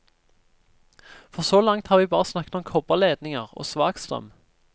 For så langt har vi bare snakket om kobberledninger og svakstrøm.